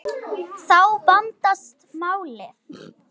Þá vandast málið.